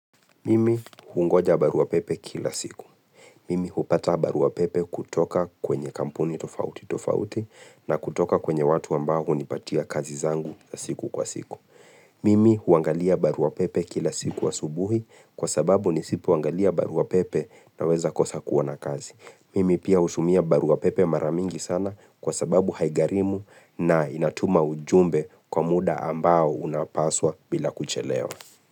Mimi hungoja baruapepe kila siku. Mimi hupata baruapepe kutoka kwenye kampuni tofauti tofauti na kutoka kwenye watu ambao hunipatia kazi zangu siku kwa siku. Mimi huangalia baruapepe kila siku asubuhi kwa sababu nisipoangalia baruapepe naweza kosa kuona kazi. Mimi pia hutumia baruapepe mara mingi sana kwa sababu haigharimu na inatuma ujumbe kwa muda ambao unapaswa bila kuchelewa.